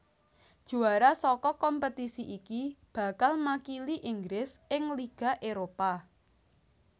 Juara saka kompetisi iki bakal makili Inggris ing Liga Éropah